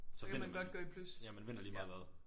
Så vinder man ja man vinder lige meget hvad